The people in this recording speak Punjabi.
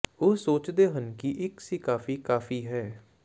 ਉਹ ਸੋਚਦੇ ਹਨ ਕਿ ਇੱਕ ਸੀ ਕਾਫੀ ਕਾਫ਼ੀ ਹੈ